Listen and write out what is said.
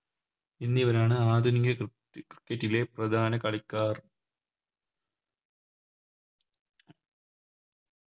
എന്നിവരാണ് ആധുനിക ക്രി Cricket ലെ പ്രധാന കളിക്കാർ